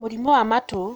Mũrimũ wa matũ.